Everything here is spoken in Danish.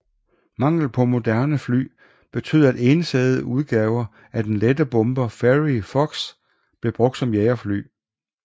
Manglen på moderne fly betød at ensædede udgaver af den lette bomber Fairey Fox blev brugt som jagerfly